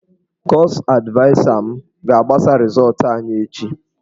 Kọọsụ advaịsa m ga-agbasa rịzọọtụ anyị echi.